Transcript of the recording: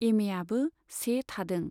एमएआबो से थादों।